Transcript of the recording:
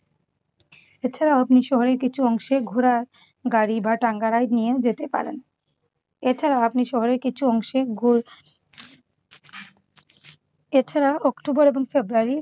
এছাড়া আপনি শহরের কিছু অংশে ঘোড়ার গাড়ি বা টাঙ্গা ride নিয়েও যেতে পারেন। এছাড়াও আপনি শহরের কিছু অংশে ঘো এছাড়া অক্টোবর এবং ফেব্রুয়ারির